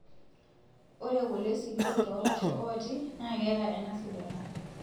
Ore kule sikitok toolasho ooti naa keeta ena sidano;